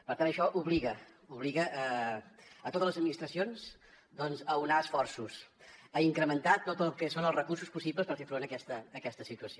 per tant això obliga totes les administracions a unir esforços a incrementar tot el que són els recursos possibles per fer front a aquesta situació